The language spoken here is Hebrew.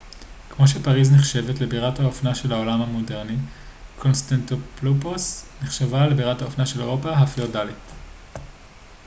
כמו שפריז נחשבת לבירת האופנה של העולם המודרני קונסטנטילופוס נחשבה לבירת האופנה של אירופה הפיאודלית